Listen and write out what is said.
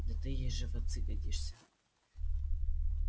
да ты же ей в отцы годишься